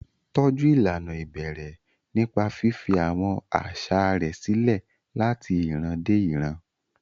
Tọ́jú ìlànà ìbẹ̀rẹ̀ nípa fífi àwọn àṣà rẹ̀ sílẹ̀ láti ìran dé ìran.